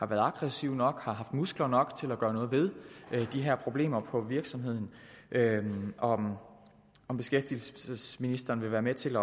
været aggressive nok har haft muskler nok til at gøre noget ved de her problemer på virksomheden og om om beskæftigelsesministeren vil være med til